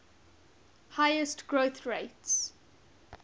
highest growth rates